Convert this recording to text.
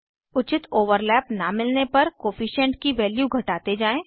उचित ओवरलैप न मिलने तक कोअफिशन्ट की वैल्यू घटाते जाएँ